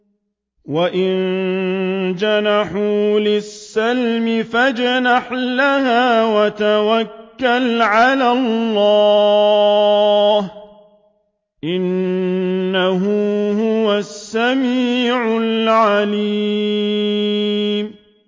۞ وَإِن جَنَحُوا لِلسَّلْمِ فَاجْنَحْ لَهَا وَتَوَكَّلْ عَلَى اللَّهِ ۚ إِنَّهُ هُوَ السَّمِيعُ الْعَلِيمُ